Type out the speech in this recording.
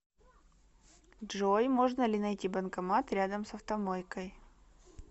джой можно ли найти банкомат рядом с автомойкой